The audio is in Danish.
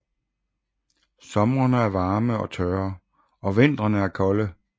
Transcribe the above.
Somrene er varme og tørre og vintrene er kolde